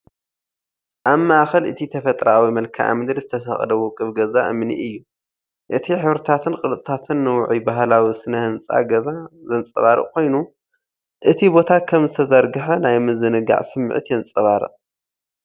ኣብ ማእከል እቲ ተፈጥሮኣዊ መልክዓ ምድሪ ዝተሰቕለ ውቁብ ገዛ እምኒ እዩ። እቲ ሕብርታትን ቅርጽታትን ንውዑይ ባህላዊ ስነ ህንጻ ገዛ ዘንጸባርቕ ኮይኑ፡ እቲ ቦታ ከም ዝተዘርግሐ ናይ ምዝንጋዕ ስምዒት የንጸባርቕ።